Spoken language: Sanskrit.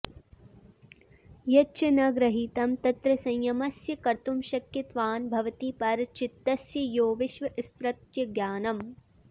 यच्च न गृहीतं तत्र संयमस्य कर्तुमशक्यत्वान्न भवति परचित्तस्य यो विषयस्तत्र ज्ञानम्